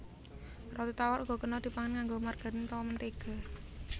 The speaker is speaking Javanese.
Roti tawar uga kena dipangan nganggo margarin utawa mentéga